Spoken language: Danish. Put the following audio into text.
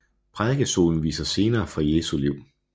Prædikestolen viser scener fra Jesu liv